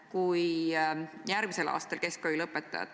Kuidas jagada infot keskselt ja struktureeritult?